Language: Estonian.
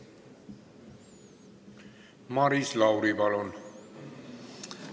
Maris Lauri, palun!